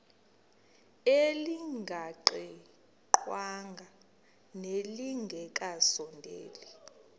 elingaqingqwanga nelinge kasondeli